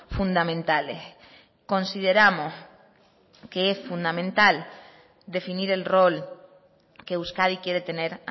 fundamentales consideramos que es fundamental definir el rol que euskadi quiere tener